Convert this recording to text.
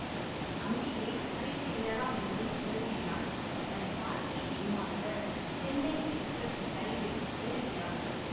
அங்கேயே கரைத்துவிடலாம் என்றும் கருதுகிறான் தன் பாட்டியை ஏமாற்ற சென்னை எக்ஸ்பிரஸ் ரயிலில் ஏறுகிறான்